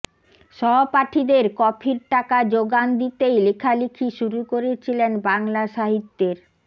সহপাঠিদের কফির টাকার যোগান দিতেই লেখালেখি শুরু করেছিলেন বাংলা সাহিত্যের